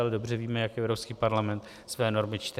Ale dobře víme, jak Evropský parlament své normy čte.